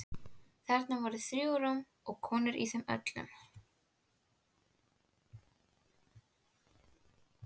Þarna voru þrjú rúm og konur í þeim öllum.